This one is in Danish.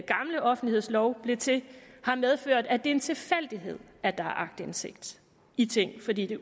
gamle offentlighedslov blev til har medført at det er en tilfældighed at der er aktindsigt i ting fordi de